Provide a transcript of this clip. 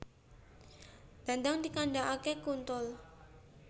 Dandang dikandakake kuntul